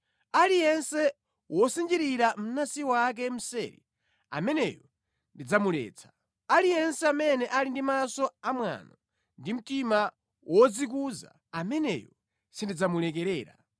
Aliyense wosinjirira mnansi wake mseri ameneyo ndidzamuletsa; aliyense amene ali ndi maso amwano ndi mtima wodzikuza, ameneyo sindidzamulekerera.